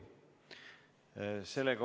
Ei soovi.